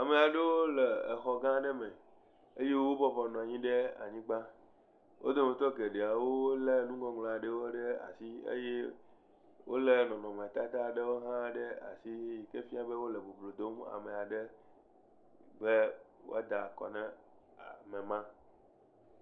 Ame aɖewo le exɔgã aɖe m eye wobɔbɔ nɔ anyi ɖe anyigba. Wo dometɔ geɖeawo lé nuŋɔŋlɔ aɖewo ɖe asi eye wolé nɔnɔmetata aɖewo hã ɖe asi yi ke fia be wole boblo dom ame aɖe be woada akɔ na ame ma.